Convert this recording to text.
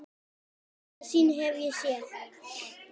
Eina sýn hef ég séð.